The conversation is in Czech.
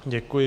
Děkuji.